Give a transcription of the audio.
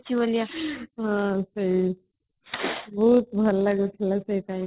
ବହୁତ ଭଲ ଲାଗିଥିଲା ସେ time